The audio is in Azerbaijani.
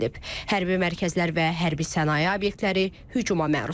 Hərbi mərkəzlər və hərbi sənaye obyektləri hücuma məruz qalıb.